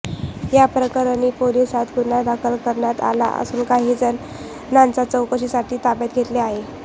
या प्रकरणी पोलिसांत गुन्हा दाखल करण्यात आला असून काही जणांन चौकशीसाठी ताब्यात घेतले आहे